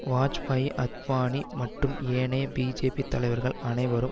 வாஜ்பாயி அத்வானி மற்றும் ஏனைய பிஜேபி தலைவர்கள் அனைவரும்